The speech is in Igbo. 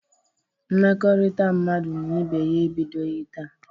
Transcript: Mmekọrịta mmadụ na ibe ya ebidoghi taa.